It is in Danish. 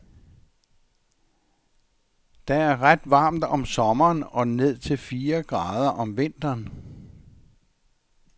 Der er ret varmt om sommeren og ned til fire grader om vinteren.